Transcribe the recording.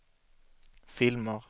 filmer